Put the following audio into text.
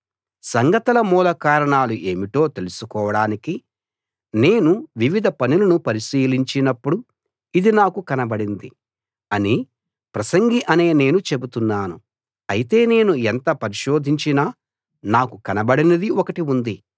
సంగతుల మూల కారణాలు ఏమిటో తెలుసుకోడానికి నేను వివిధ పనులను పరిశీలించినపుడు ఇది నాకు కనబడింది అని ప్రసంగి అనే నేను చెబుతున్నాను అయితే నేను ఎంత పరిశోధించినా నాకు కనబడనిది ఒకటి ఉంది